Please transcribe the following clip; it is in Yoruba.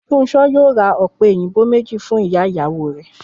Fúnṣo yóò ra ọ̀pẹ òyìnbó méjì lọ fún ìyá ìyàwó rẹ̀